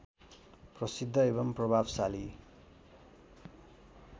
प्रसिद्ध एवं प्रभावशाली